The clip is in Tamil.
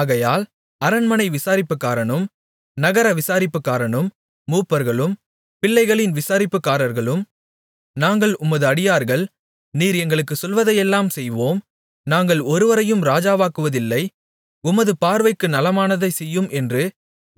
ஆகையால் அரண்மனை விசாரிப்புக்காரனும் நகர விசாரிப்புக்காரனும் மூப்பர்களும் பிள்ளைகளின் விசாரிப்புக்காரர்களும் நாங்கள் உமது அடியார்கள் நீர் எங்களுக்குச் சொல்வதையெல்லாம் செய்வோம் நாங்கள் ஒருவரையும் ராஜாவாக்குவதில்லை உமது பார்வைக்கு நலமானதைச் செய்யும் என்று